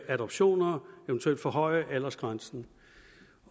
adoptioner eventuelt forhøje aldersgrænsen